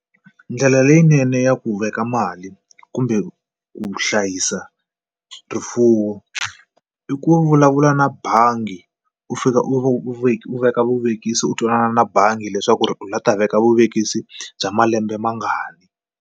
Ndlela leyinene ya ku veka mali kumbe ku hlayisa rifuwo i ku vulavula na bangi u fika u u veka vuvekisi u twanana na bangi leswaku ri u lava ta veka vuvekisi bya malembe mangani.